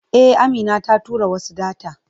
E, Amina ta tura wasu data.